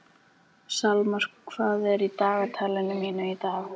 Salmar, hvað er í dagatalinu mínu í dag?